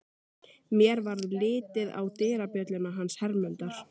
Mér varð litið á dyrabjölluna hans Hermundar.